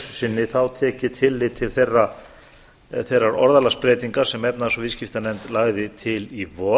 sinni þá tekið tillit til þeirrar orðalagsbreytingar sem efnahags og viðskiptanefnd lagði til í vor